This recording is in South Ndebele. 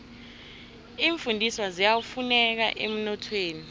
iimfundiswa ziyafuneka emnothweni